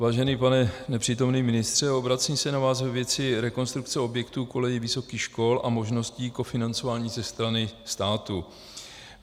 Vážený pane nepřítomný ministře, obracím se na vás ve věci rekonstrukce objektů kolejí vysokých škol a možnosti kofinancování ze strany státu.